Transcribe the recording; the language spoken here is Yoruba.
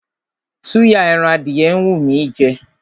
Súyà ẹran adìyẹ ń wú mí í jẹ.